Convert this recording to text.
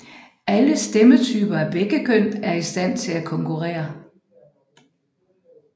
Alle stemmetyper af begge køn er i stand til at konkurrere